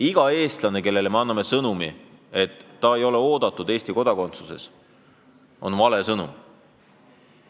Igale Eesti kodanikule antud sõnum, et tema olemine Eesti kodakondsuses pole oodatud, on vale sõnum.